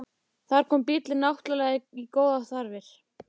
Þar kom bíllinn náttúrlega í góðar þarfir.